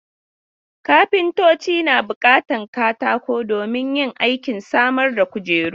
Kafintoci na buƙatan katako domin yin aikin samar da kujeru.